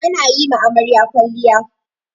Ana yi ma amarya kwalliya.